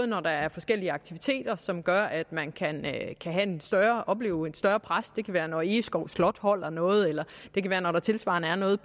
når der er forskellige aktiviteter som gør at man kan opleve et større pres det kan være når egeskov slot holder noget eller det kan være når der tilsvarende er noget